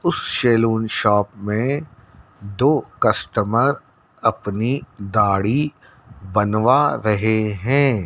उस salon shop में दो कस्टमर अपनी दाढ़ी बनवा रहे हैं।